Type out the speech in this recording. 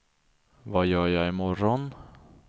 vad gör jag imorgon